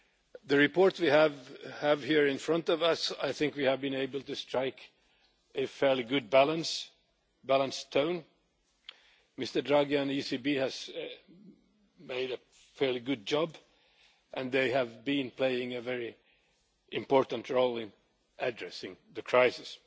In the report we have here in front of us, I think we have been able to strike a fairly good balance, with a balanced tone. Mr Draghi and the ECB have done a fairly good job and they have been playing a very important role in addressing the crisis.